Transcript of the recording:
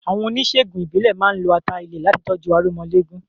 Àwọn oníṣègùn ìbílẹ̀ máa ń lo ata ilẹ̀ láti tọ́jú aromọléegun.